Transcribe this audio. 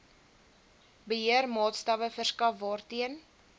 beheermaatstawwe verskaf waarteen